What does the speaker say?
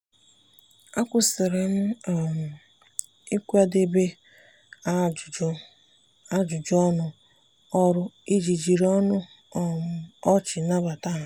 akwụsịrị m um ịkwadebe ajụjụ ajụjụ ọnụ ọrụ iji jiri ọnụ um ọchị nabata ha.